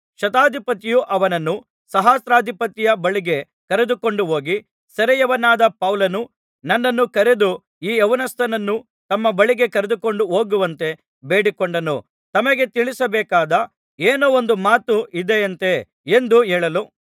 ಶತಾಧಿಪತಿ ಅವನನ್ನು ಸಹಸ್ರಾಧಿಪತಿಯ ಬಳಿಗೆ ಕರೆದುಕೊಂಡು ಹೋಗಿ ಸೆರೆಯವನಾದ ಪೌಲನು ನನ್ನನ್ನು ಕರೆದು ಈ ಯೌವನಸ್ಥನನ್ನು ತಮ್ಮ ಬಳಿಗೆ ಕರೆದುಕೊಂಡು ಹೋಗುವಂತೆ ಬೇಡಿಕೊಂಡನು ತಮಗೆ ತಿಳಿಸಬೇಕಾದ ಏನೋ ಒಂದು ಮಾತು ಇದೆಯಂತೆ ಎಂದು ಹೇಳಲು